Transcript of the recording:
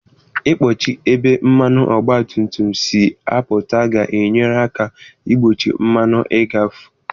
Ị kpọchi ebe mmanụ ọgba tum tum si apụta ga-enyere aka igbochi mmanụ ịghafu.